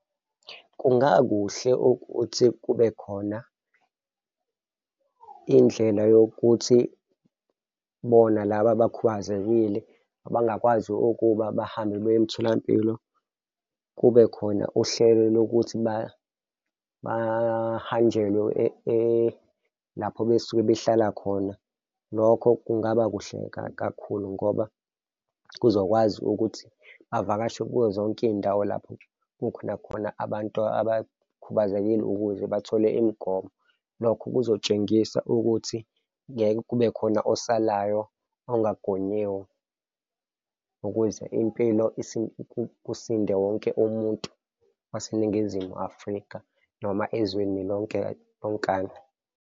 Kungakuhle ukuthi kube khona indlela yokuthi bona laba abakhubazekile abangakwazi ukuba bahambe baye emtholampilo, kube khona uhlelo lokuthi bahanjelwe lapho besuke behlala khona. Lokho kungaba kuhle kakhulu ngoba kuzokwazi ukuthi bavakashe kuzo zonke iy'ndawo lapho kukhona khona abantu abakhubazekile ukuze bathole imigomo. Lokho kuzotshengisa ukuthi ngeke kube khona osalayo engagonyiwe ukuze impilo kusinde wonke umuntu waseNingizimu Afrika noma ezweni lonke lonkana.